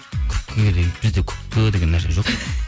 күпкіге деген бізде күпкі деген нәрсе жоқ